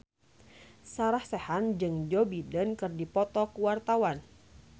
Sarah Sechan jeung Joe Biden keur dipoto ku wartawan